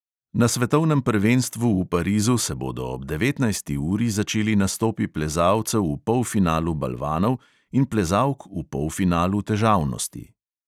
Na svetovnem prvenstvu v parizu se bodo ob devetnajsti uri začeli nastopi plezalcev v polfinalu balvanov in plezalk v polfinalu težavnosti.